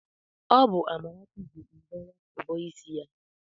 Ọ bụ Amarachi ji mbọ nwata bọọ ịsị ya.